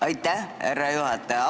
Aitäh, härra juhataja!